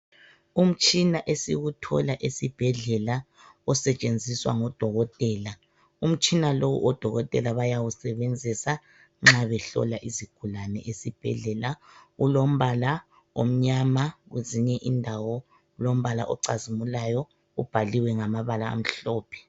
Umtshina esiwuthola esibhedlela osetshenziswa ngodokotela umtshina lo odokotela bayawusebenzisa nxa behlola izigulani ezibhedlela kulombala omnyama kwezinye indawo ilombala ocazimulayo ubhaliwe ngamabala amhlophe.